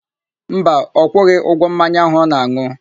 Mba, ọ kwụghị ụgwọ mmanya áhù ọ na-an̄ụ.